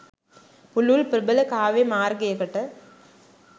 පුළුල් ප්‍රබල කාව්‍ය මාර්ගයකට